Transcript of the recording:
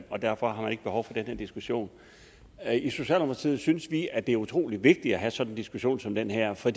og derfor har man ikke behov for den her diskussion i socialdemokratiet synes vi at det er utrolig vigtigt at have sådan en diskussion som den her for